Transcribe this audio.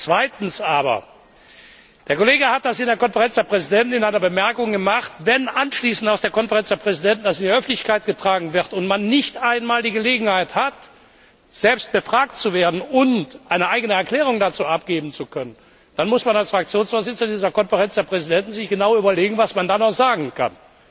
Zweitens aber Der Kollege hat das in der Konferenz der Präsidenten in einer Bemerkung vorgeschlagen. Wenn das anschließend aus der Konferenz der Präsidenten in die Öffentlichkeit getragen wird und man nicht einmal die Gelegenheit hat, selbst befragt zu werden und eine eigene Erklärung dazu abzugeben, dann muss man als Fraktionsvorsitzender in dieser Konferenz der Präsidenten sich genau überlegen, was man dann noch sagen kann.